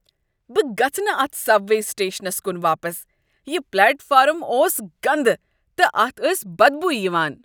بہٕ گژھہٕ نہ اتھ سب وے سٹیشنس کن واپس ۔ یِہ پلیٹ فارم اوٚس گندٕ، تہٕ اتھ ٲس بدبویہ یوان ۔